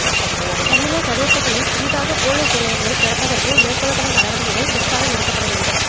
தமிழர் பிரதேசங்களில் புதிதாக பொலிஸ் நிலையங்களைத் திறப்பதற்கு மேற்கொள்ளப்படும் நடவடிக்கைகள் முற்றாக நிறுத்தப்படவேண்டும்